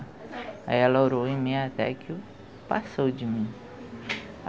Aí ela orou em mim até que passou de mim.